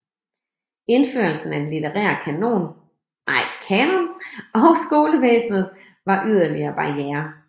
Indførelsen af den litterære kanon og skolevæsenet var yderligere barrierer